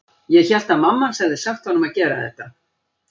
Ég hélt að mamma hans hefði sagt honum að gera þetta.